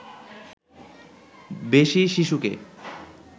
বেশি শিশুকে